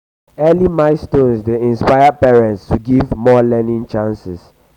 early milestones dey inspire parents to give more learning chances.